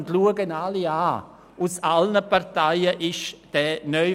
Das betone ich und schaue hier alle an.